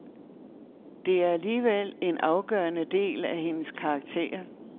Det er alligevel en afgørende del af hendes karakter.